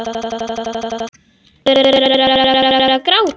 Þú hefur verið að gráta!